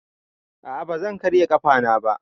A a ba zan karya ƙafana ba.